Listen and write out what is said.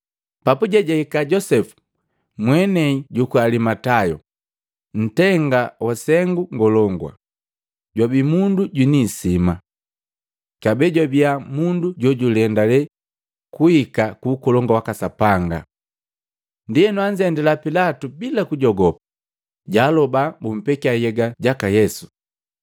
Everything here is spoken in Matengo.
Papuje, jahika Josepu mwenei juku Alimatayo, ntenga wa Sengu ngolongu, jwabii mundu jwiniisima. Kabee jwabia mundu jojulendale kuhika ku Ukolongu waka Sapanga. Ndienu anzendila Pilatu bila kujogopa, jaaloba bumpekya nhyega jaka Yesu.